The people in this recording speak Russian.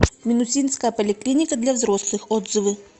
минусинская поликлиника для взрослых отзывы